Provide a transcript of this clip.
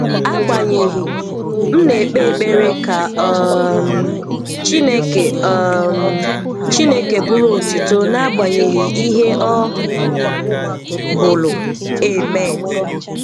Àgbànyéghị, m na-ékpé ékpéré ka um Chínèké um Chínèké bụrụ́ ótùtò n’àgbànyéghị ìhè ọ̀ bụ̀lù. Amen